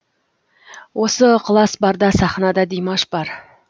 осы ықылас барда сахнада димаш бар